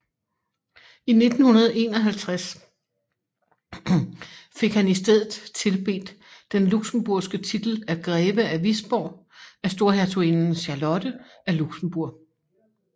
I 1951 fik han istedet tildelt den luxembourgske titel Greve af Wisborg af Storhertuginde Charlotte af Luxembourg